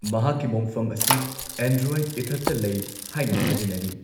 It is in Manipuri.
ꯃꯍꯥꯛꯀꯤ ꯃꯣꯡꯐꯝ ꯑꯁꯤ ꯑꯦꯟꯗ꯭ꯔꯣꯏꯠ ꯏꯊꯠꯇ ꯂꯩ ꯍꯥꯏꯅ ꯊꯥꯖꯅꯔꯤ꯫